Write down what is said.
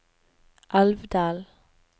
Alvdal